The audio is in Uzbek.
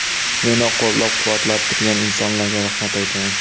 Meni qo‘llab-quvvatlab turgan insonlarga rahmat aytaman.